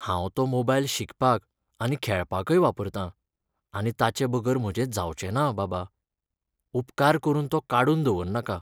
हांव तो मोबायल शिकपाक आनी खेळपाकय वापरतां आनी ताचेबगर म्हजें जावचेंना, बाबा. उपकार करून तो काडून दवर नाका.